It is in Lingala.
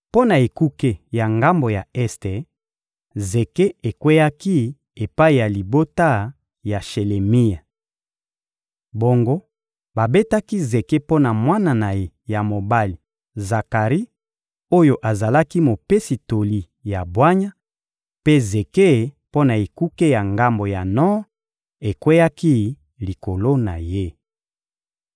Mpo na ekuke ya ngambo ya este, zeke ekweyaki epai ya libota ya Shelemia. Bongo babetaki zeke mpo na mwana na ye ya mobali Zakari oyo azalaki mopesi toli ya bwanya, mpe zeke mpo na ekuke ya ngambo ya Nor ekweyaki likolo na ye.